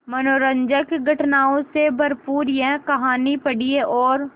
मनोरंजक घटनाओं से भरपूर यह कहानी पढ़िए और